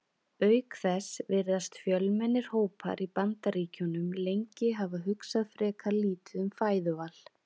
Auk þess virðast fjölmennir hópar í Bandaríkjunum lengi hafa hugsað frekar lítið um fæðuval.